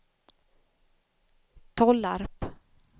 Tollarp